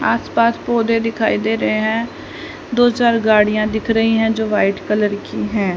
आस पास पौधे दिखाई दे रहे है दो चार गाड़ियां दिख रही है जो वाइट कलर की हैं।